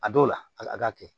A dɔw la a k'a kɛ